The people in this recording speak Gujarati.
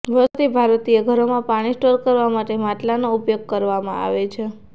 વર્ષોથી ભારતીય ઘરોમાં પાણી સ્ટોર કરવા માટે માટલાંનો ઉપયોગ કરવામાં આવે છે